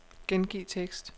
Gengiv tekst.